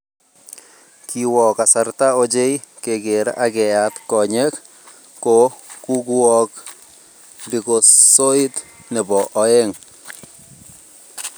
kiwoo kasarta ochei keker ak keyaat konyee ko kukuwook likosoit ne bo oeng